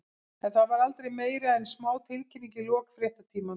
En það var aldrei meira en smá tilkynning í lok fréttatímans.